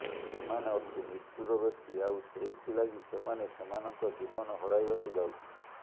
ସେମାନେ ଅତି ନିଷ୍ଠୁର ବ୍ୟକ୍ତି ଆଉ ସେଇଥିଲାଗି ସେମାନେ ସେମାନଙ୍କ ଜୀବନ ହରାଇବାକୁ ଯାଉଛନ୍ତି